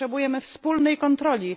Potrzebujemy wspólnej kontroli.